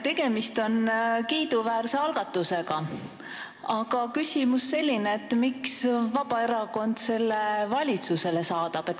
Tegemist on kiiduväärse algatusega, aga mu küsimus on selline: miks Vabaerakond selle valitsusele saadab?